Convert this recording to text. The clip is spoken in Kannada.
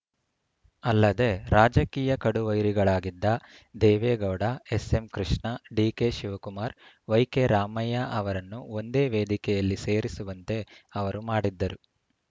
ಅಲ್ಲದೆ ರಾಜಕೀಯ ಕಡು ವೈರಿಗಳಾಗಿದ್ದ ದೇವೇಗೌಡ ಎಸ್‌ಎಂಕೃಷ್ಣ ಡಿಕೆಶಿವಕುಮಾರ್‌ ವೈಕೆರಾಮಯ್ಯ ಅವರನ್ನು ಒಂದೇ ವೇದಿಕೆಯಲ್ಲಿ ಸೇರಿಸುವಂತೆ ಅವರು ಮಾಡಿದ್ದರು